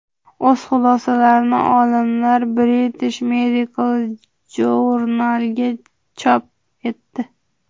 O‘z xulosalarini olimlar British Medical Journal’da chop etdi .